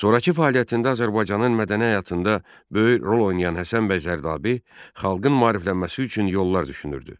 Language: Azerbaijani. Sonrakı fəaliyyətində Azərbaycanın mədəni həyatında böyük rol oynayan Həsən bəy Zərdabi xalqın maariflənməsi üçün yollar düşünürdü.